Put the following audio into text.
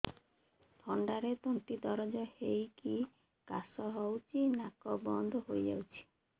ଥଣ୍ଡାରେ ତଣ୍ଟି ଦରଜ ହେଇକି କାଶ ହଉଚି ନାକ ବନ୍ଦ ହୋଇଯାଉଛି